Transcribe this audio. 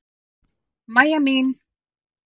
Mæja mín!